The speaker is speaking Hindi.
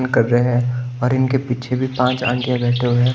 कर रहे हैं और इनके पीछे भी पांच आंटियों बैठे हुए--